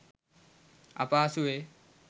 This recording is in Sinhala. අපහසුවේ.